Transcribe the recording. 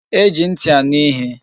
E ji nti aṅụ ihe